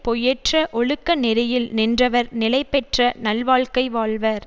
பொய்யற்ற ஒழுக்க நெறியில் நின்றவர் நிலை பெற்ற நல்வாழ்க்கை வாழ்வர்